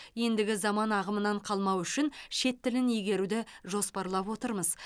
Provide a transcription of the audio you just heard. ендігі заман ағымынан қалмау үшін шет тілін игеруді жоспарлап отырмыз